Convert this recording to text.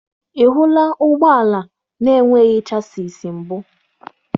Ị hụla ụgbọ ala na-enweghị chassịs mbụ?